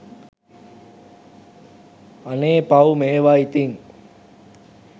අනේ පව් මේවා ඉතින්